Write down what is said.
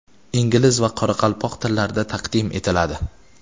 ingliz va qoraqalpoq tillarida taqdim etiladi.